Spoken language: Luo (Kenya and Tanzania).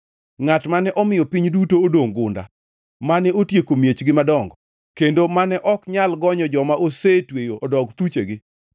ngʼat mane omiyo piny duto odongʼ gunda, mane otieko miechgi madongo, kendo mane ok nyal gonyo joma osetweyo odog thuchegi?”